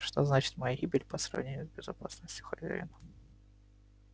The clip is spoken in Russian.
что значит моя гибель по сравнению с безопасностью хозяина